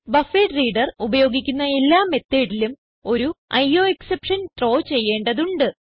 buffered reader ഉപയോഗിക്കുന്ന എല്ലാ methodലും ഒരു അയോഎക്സെപ്ഷൻ ത്രോ ചെയ്യേണ്ടതുണ്ട്